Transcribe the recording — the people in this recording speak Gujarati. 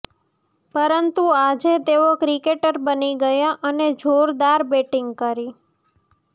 પરંતુ આજે તેઓ ક્રિકેટર બની ગયા અને જોરદાર બેટિંગ કરી